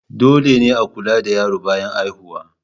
Dole ne a kula da yaro bayan haihuwa.